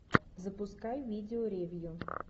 запускай видео ревью